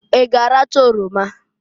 I g'aracha oroma?